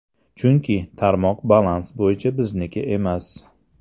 Chunki, tarmoq balans bo‘yicha bizniki emas.